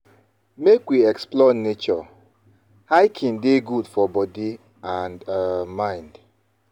Make we explore nature; hiking dey good for body and um mind.